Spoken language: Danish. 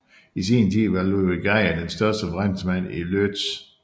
I sin tid var Ludwik Geyer den største forretningsmand i Łódź